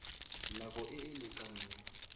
nako e e lekaneng ya